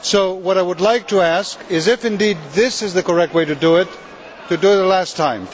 What I would like to ask is, if indeed this is the correct way to do it, to do it one last time.